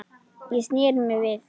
Ég sneri mér við.